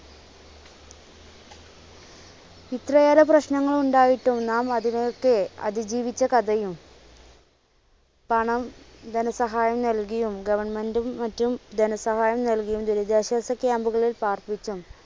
ഇത്രയേറെ പ്രശ്നങ്ങളുണ്ടായിട്ടും നാം അതിനൊയൊക്കെ അതിജീവിച്ച കഥയും പണം ധനസഹായം നൽകിയും government ഉം മറ്റും ധനസഹായം നൽകിയും ദുരിതാശ്വാസ camp കളിൽ പാർപ്പിച്ചും.